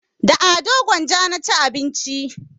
Da ado gwanja na ci abinci